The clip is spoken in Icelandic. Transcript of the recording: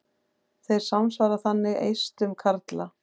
Þeir samsvara þannig eistum karla.